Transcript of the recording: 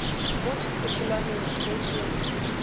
mo setsopolwaneng se ke ya